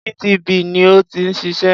GTB ni ó ti ń ṣiṣẹ́.